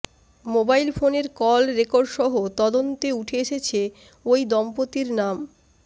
mobile ফোনের call রেকর্ডসহ তদন্তে উঠে এসেছে ওই দম্পতির নাম